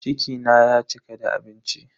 Ciki na ya cika da abinci.